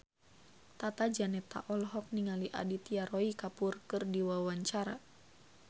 Tata Janeta olohok ningali Aditya Roy Kapoor keur diwawancara